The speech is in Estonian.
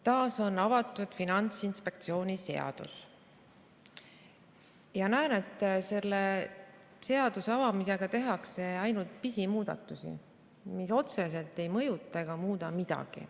Taas on avatud Finantsinspektsiooni seadus ja näen, et selle seaduse avamisega tehakse ainult pisimuudatusi, mis otseselt ei mõjuta ega muuda midagi.